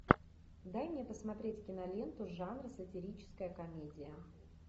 дай мне посмотреть киноленту жанр сатирическая комедия